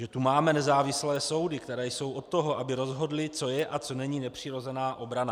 Že tu máme nezávislé soudy, které jsou od toho, aby rozhodly, co je a co není nepřirozená obrana.